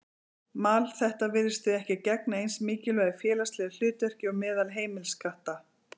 Mal þeirra virðist því ekki gegna eins mikilvægu félagslegu hlutverki og meðal heimiliskatta.